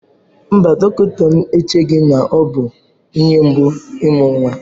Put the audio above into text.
Mba, dọkịta m echeghị na ọ bụ ihe mgbu imu nnwa.